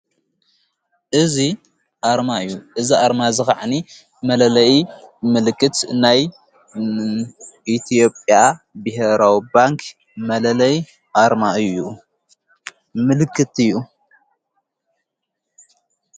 እዝ ኣርማ እዩ። እዝ ኣርማ ዝ ኸዕኒ መለለይ ምልክት ናይ ኢቲዮጴያ ብሔራው ባንክ መለለይ ኣርማ እዩ። ምልክት እዩ።